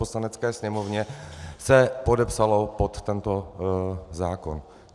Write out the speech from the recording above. Poslanecké sněmovně se podepsalo pod tento zákon.